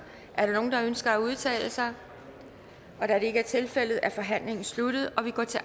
ønsker at udtale sig da det ikke er tilfældet er forhandlingen sluttet og vi går til